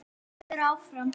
En þú vilt vera áfram?